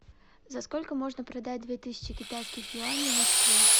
за сколько можно продать две тысячи китайских юаней в москве